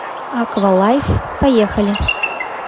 аквалайф поехали